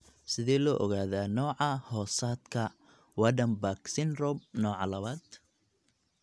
Sidee loo ogaadaa nooca-hoosaadka Waardenburg syndrome nooca labaad?